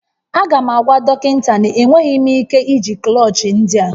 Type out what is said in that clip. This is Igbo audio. Aga m agwa dọkịta na enweghị m ike iji klọchị ndị a